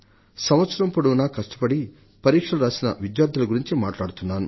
సంవత్సరం పొడవునా కష్టపడి పరీక్షలు రాసిన విద్యార్థుల గురించి మాట్లాడుతున్నాను